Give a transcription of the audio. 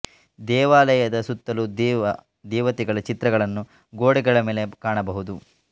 ದೇವಾಲಯದ ಸುತ್ತಲು ದೇವ ದೇವತೆಗಳ ಚಿತ್ರಗಳನ್ನು ಗೋಡೆಗಳ ಮೇಲೆ ಕಾಣಬಹುದು